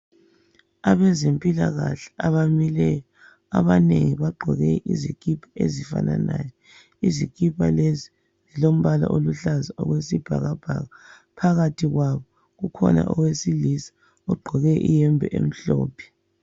Abezempilakahle abamileyo abanengi bagqoke izikipa ezifananayo. Izikipa lezi zilombala oluhlaza okwesibhakabhaka, phakathi kwabo kukhona owesilisa ogqoke okumhlophe.